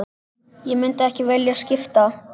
Ég myndi ekki vilja skipta.